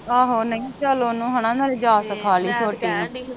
ਆਹ ਨਹੀਂ ਚਲ ਓਹਨੂੰ ਹਨਾ ਨਾਲੇ ਜਾ ਕੇ ਥਾਲੀ